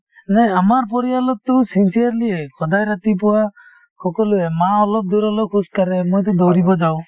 নাই আমাৰ পৰিয়ালত টো sincerely য়েই । সদায় ৰাতিপুৱা সকলোৱে , মা অলপ দূৰ হলেও খোজকাঢ়ে , মইটো দৌৰিব যাওঁ।